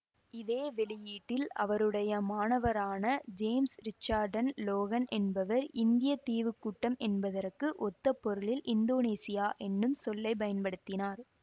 இதே வெளியீட்டில் அவருடைய மாணவரான ஜேம்சு ரிச்சார்ட்சன் லோகன் என்பவர் இந்திய தீவு கூட்டம் என்பதற்கு ஒத்த பொருளில் இந்தோனேசியா என்னும் சொல்லை பயன்படுத்தினார்